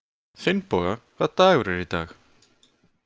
Finnboga, hvaða dagur er í dag?